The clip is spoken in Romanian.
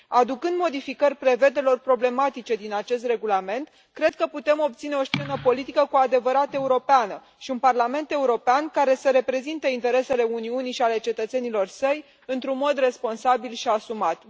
Aducând modificări prevederilor problematice din acest regulament, cred că putem obține o scenă politică cu adevărat europeană și un Parlament European care să reprezinte interesele Uniunii și ale cetățenilor săi într un mod responsabil și asumat.